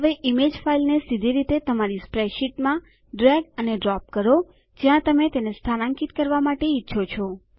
હવે ઈમેજ ફાઈલને સીધી રીતે તમારી સ્પ્રેડશીટમાં ડ્રેગ અને ડ્રોપ કરો જ્યાં તમે તેને સ્થાનાંકિત કરવા ઈચ્છો છો